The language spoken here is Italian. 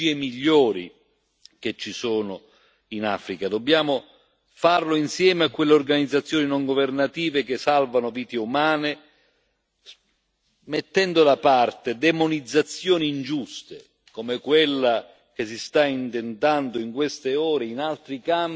Dobbiamo farlo insieme a quelle organizzazioni non governative che salvano vite umane, mettendo da parte demonizzazioni ingiuste, come quella che si sta intentando in queste ore in altri campi, contro l'agenzia dell'ONU per la Palestina.